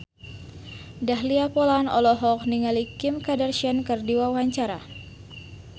Dahlia Poland olohok ningali Kim Kardashian keur diwawancara